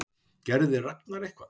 Gerði Ragnar eitthvað?